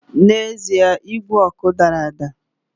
N’ezie igwe ọkụ dara ada